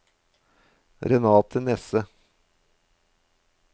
Renate Nesse